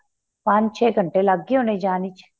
ਪੰਜ ਚੇ ਘੰਟੇ ਲੱਗ ਗਏ ਹੋਣੇ ਜਾਣ ਚ